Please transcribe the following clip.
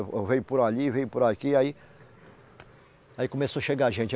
Eu vim por ali, vim por aqui, aí. Aí começou a chegar gente.